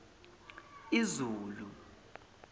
izulu